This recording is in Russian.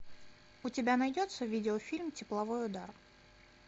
у тебя найдется видеофильм тепловой удар